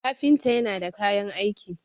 kafinta yana da kayan aiki